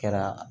Kɛra